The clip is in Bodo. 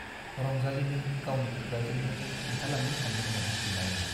रंजालीनो गावनि खुगाजोंनो खिन्थालांनो सानदोंमोन बिमाइया।